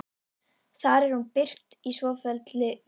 Þar er hún birt í svofelldri umgerð